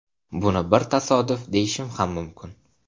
Buni bir tasodif deyishim ham mumkin.